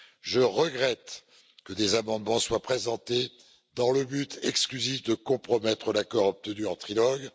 Je regrette que des amendements soient présentés dans le but exclusif de compromettre l'accord obtenu en trilogue.